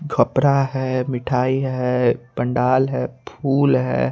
खपरा है मिठाई है पंडाल है फूल है।